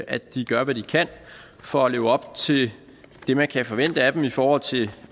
at de gør hvad de kan for at leve op til det man kan forvente af dem i forhold til